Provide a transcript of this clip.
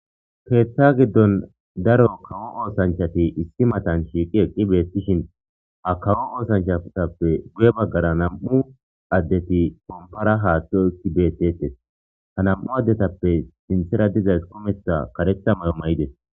keeththa giddon daro kawo oosanchati issi matan shiiqi eqqi beettishin ha kawo oosanchatappe guye baggara nam7u addeti kompara haathxo ekki bettetes ha nam7u addetappe sintera dizays kumetha karetha mayo mayides